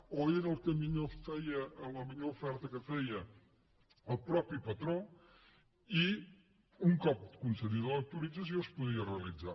o era la millor oferta que feia el mateix patró i un cop concedida l’autorització es podia realitzar